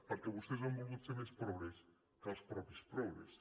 perquè vostès han volgut ser més progres que els mateixos progres